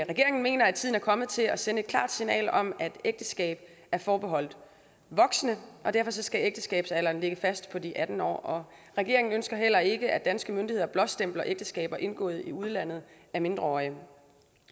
regeringen mener at tiden er kommet til at sende et klart signal om at ægteskabet er forbeholdt voksne og derfor skal ægteskabsalderen ligge fast på de atten år regeringen ønsker heller ikke at danske myndigheder blåstempler ægteskaber indgået i udlandet af mindreårige